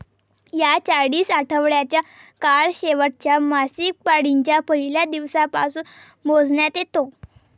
हा चाळीस आठवड्याचा काळ शेवटच्या मासिकपाळीच्या पहिल्या दिवसापासून मोजण्यात येतो